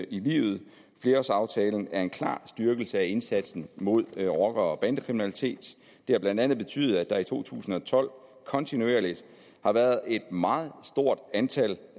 i livet flerårsaftalen er en klar styrkelse af indsatsen mod rocker og bandekriminalitet det har blandt andet betydet at der i to tusind og tolv kontinuerligt har været et meget stort antal